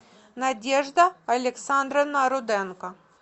надежда александровна руденко